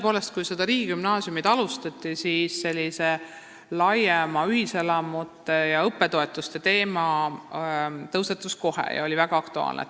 Tõepoolest, kui riigigümnaasiumide rajamist alustati, siis laiem ühiselamute ja õppetoetuste teema tõusetus kohe ja oli väga aktuaalne.